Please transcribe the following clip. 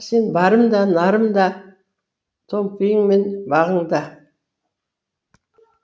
сен барым да нарым да томпиың мен бағың да